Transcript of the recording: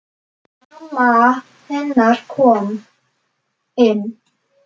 Mamma hennar komin.